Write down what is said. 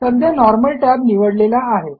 सध्या normal Tab निवडलेला आहे